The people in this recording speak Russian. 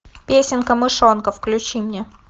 песенка мышонка включи мне